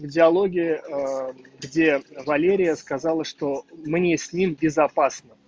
идеология где валерия сказала что мне с ним безопасно